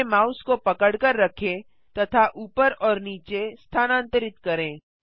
अपने माउस को पकड़कर रखें तथा ऊपर और नीचे स्थानांतरित करें